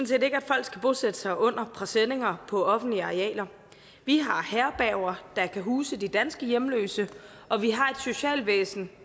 set ikke at folk skal bosætte sig under presenninger på offentlige arealer vi har herberger der kan huse de danske hjemløse og vi har et socialvæsen